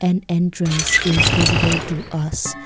an entrance is visible to us.